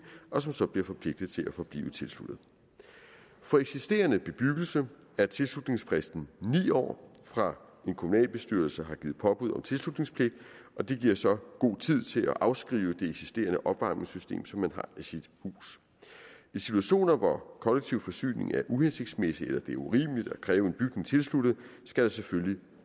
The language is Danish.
og som så bliver forpligtet til at forblive tilsluttet for eksisterende bebyggelse er tilslutningsfristen ni år fra en kommunalbestyrelse har givet påbud om tilslutningspligt og det giver så god tid til at afskrive det eksisterende opvarmningssystem som man har i sit hus i situationer hvor kollektiv forsyning er uhensigtsmæssig eller det er urimeligt at kræve en bygning tilsluttet skal der selvfølgelig